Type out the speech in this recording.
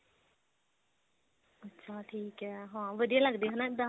ਅੱਛਾ ਠੀਕ ਆ ਹਾਂ ਵਧੀਆ ਲੱਗਦੇ ਹਨਾ ਇੱਦਾਂ